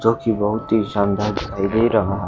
जो कि बहुत ही शानदार दिखाई दे रहा--